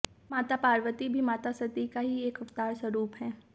माता पार्वती भी माता सती का ही एक अवतार स्वरुप हैं